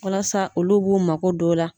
Walasa olu b'u mako don la.